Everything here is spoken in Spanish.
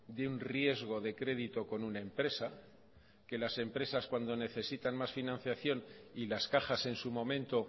de un riesgo de crédito con una empresa que las empresas cuando necesitan más financiación y las cajas en su momento